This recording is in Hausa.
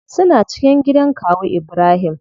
Suna cikin gidan kawu ibrahim.